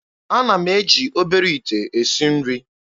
Ana m eji obere ite esi nri.